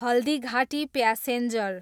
Haldighati passenger